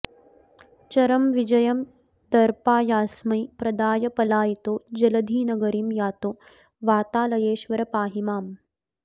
चरमविजयं दर्पायास्मै प्रदाय पलायितो जलधिनगरीं यातो वातालयेश्वर पाहि माम्